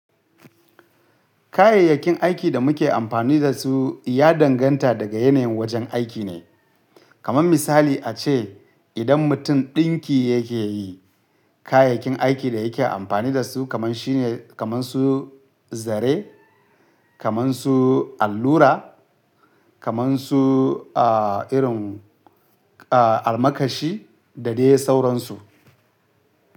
Kayayyakin aikin da muke amfani da su ya danganta daga yanayin wajen aiki ne, kamar misali a ce idan mutum ɗinki yake yi kayayyakin aikin da yake amfani da su kamar shi ne kamar su zare, kamar su allura, kamar su a irin a almakashi da dai sauransu.